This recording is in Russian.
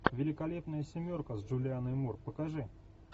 великолепная семерка с джулианной мур покажи